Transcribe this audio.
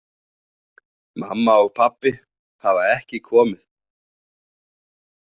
Mamma og pabbi hafa ekki komið.